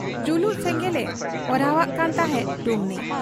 ᱡᱩᱞᱩᱜ ᱥᱮᱸᱜᱮᱞᱮ ᱚᱦᱨᱟᱣᱟᱜ ᱠᱟᱱ ᱛᱟᱦᱮᱸᱫ ᱰᱩᱢᱱᱤ ᱾